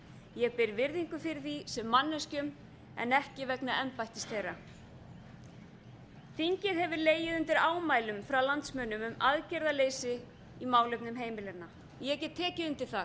ég ber virðingu fyrir því sem manneskjum en ekki vegna embættis þeirra þingið hefur legið undir ámælum frá landsmönnum um aðgerðarleysi í málefnum heimilanna ég get tekið undir það